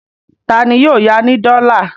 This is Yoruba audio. Ta ni yóò ya ní dọ́là?